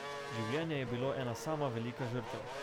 Življenje je bilo ena sama velika žrtev.